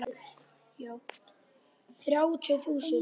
Þrjátíu þúsund!